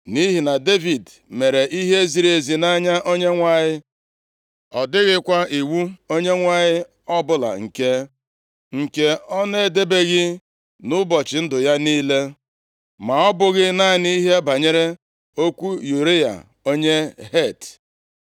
Nʼihi na Devid mere ihe ziri ezi nʼanya Onyenwe anyị, ọ dịghịkwa iwu Onyenwe anyị ọbụla nke ọ na-edebeghị nʼụbọchị ndụ ya niile, ma ọ bụghị naanị ihe banyere okwu Ụraya, onye Het.